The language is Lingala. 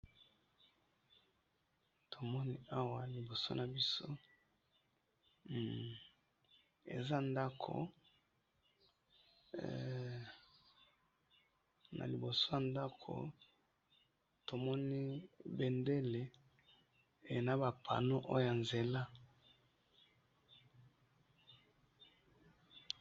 Tomoni awa na liboso nabiso eza ndaku hee na liboso ya ndako tomoni benmdele naba panneaux eza na nzela.